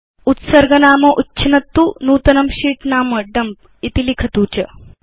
अधुना उत्सर्गनाम उच्छिनत्तु नूतनं sheet नाम Dumpइति लिखतु च